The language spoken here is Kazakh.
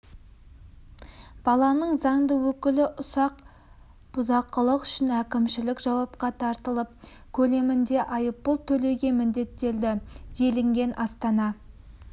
баланың заңды өкілі ұсақ бұзақылық үшін әкімшілік жауапқа тартылып көлемінде айыппұл төлеуге міндеттелді делінген астана